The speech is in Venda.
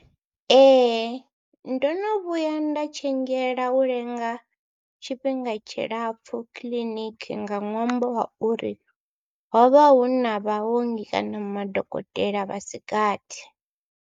Ee ndo no vhuya nda tshenzhela u lenga tshifhinga tshilapfhu kiḽiniki nga ṅwambo wa uri ho vha hu na vhaongi kana madokotela vha si gathi.